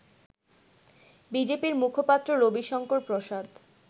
বিজেপির মুখপাত্র রবিশংকর প্রসাদ